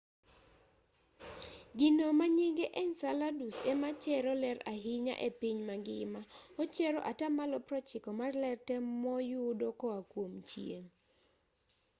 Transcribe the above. gino manyinge enceladus ema chero ler ahinya epiny mangima ochero atamalo 90 mar ler tee moyudo koa kuom chieng'